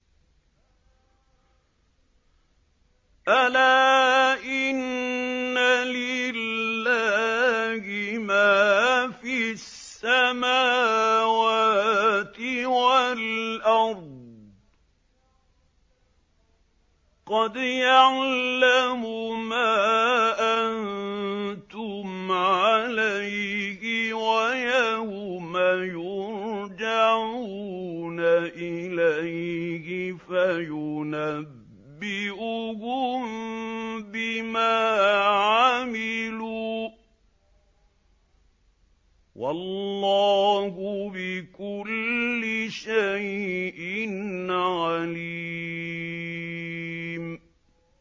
أَلَا إِنَّ لِلَّهِ مَا فِي السَّمَاوَاتِ وَالْأَرْضِ ۖ قَدْ يَعْلَمُ مَا أَنتُمْ عَلَيْهِ وَيَوْمَ يُرْجَعُونَ إِلَيْهِ فَيُنَبِّئُهُم بِمَا عَمِلُوا ۗ وَاللَّهُ بِكُلِّ شَيْءٍ عَلِيمٌ